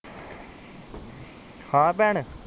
ਹਾਂ ਭੈਣ